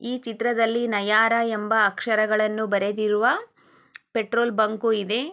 ಈ ಚಿತ್ರದಲ್ಲಿ ನಯರಾ ಎಂಬಾ ಅಕ್ಷರಾಗಳನ್ನು ಬರೆದಿರುವ ಪೆಟ್ರೋಲ್ ಬಂಕು ಇದೆ.